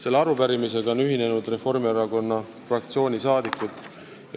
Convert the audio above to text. Selle arupärimisega on ühinenud Reformierakonna fraktsiooni liikmed.